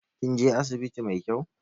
Kin je asibiti mai kyau?